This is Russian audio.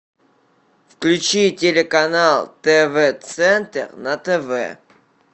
включи телеканал тв центр на тв